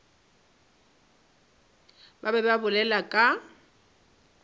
ba be ba bolela ka